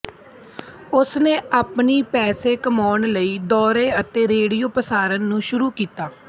ਉਸਨੇ ਆਪਣੀ ਪੈਸੇ ਕਮਾਉਣ ਲਈ ਦੌਰੇ ਅਤੇ ਰੇਡੀਓ ਪ੍ਰਸਾਰਣ ਨੂੰ ਸ਼ੁਰੂ ਕੀਤਾ